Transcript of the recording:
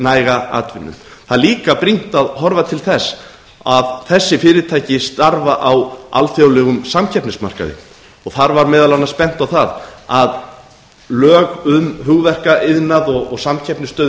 næga atvinnu það er líka brýnt að horfa til þess að þessi fyrirtæki starfa á alþjóðlegum samkeppnismarkaði og þar var meðal annars bent á að lög um hugverkaiðnað og samkeppnisstöðu